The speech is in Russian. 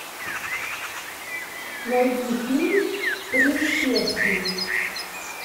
найди фильм принц персии